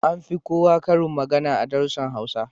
An fi koya karin magana a darussan Hausa